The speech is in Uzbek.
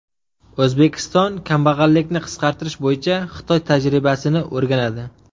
O‘zbekiston kambag‘allikni qisqartirish bo‘yicha Xitoy tajribasini o‘rganadi.